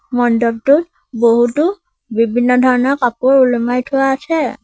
মণ্ডপটোত বহুতো বিভিন্ন ধৰণৰ কাপোৰ ওলোমাই থোৱা আছে।